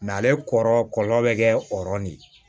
ale kɔrɔ kɔlɔlɔ bɛ kɛ o yɔrɔ de la